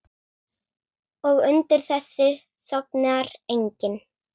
Og undir þessu sofnar enginn.